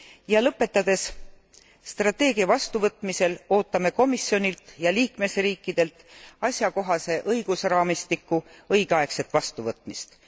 Ja lõpetades strateegia vastuvõtmisel ootame komisjonilt ja liikmesriikidelt asjakohase õigusraamistiku õigeaegset vastuvõtmist.